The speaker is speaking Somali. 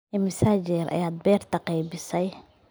Imisa jeer ayaad beerta qaybisay?